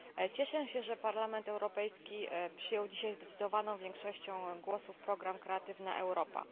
Cieszę się, że Parlament Europejski przyjął dzisiaj zdecydowaną większością głosów program Kreatywna Europa.